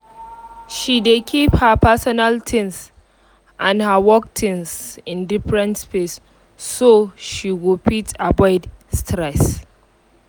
she dey keep her personal things and her work things in deferent space so she go fit avoid stress